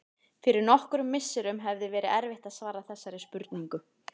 Fyrir nokkrum misserum hefði verið erfitt að svara þessari spurningu.